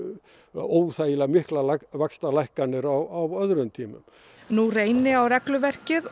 óþægilega miklar vaxtalækkanir á öðrum tímum nú reyni á regluverkið og